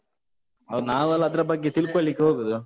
ಹೌದು. ನಾವೆಲ್ಲ ಅದ್ರ ಬಗ್ಗೆ ತಿಳ್ಕೊಳ್ಳಿಕ್ಕೆ ಹೋಗುದು.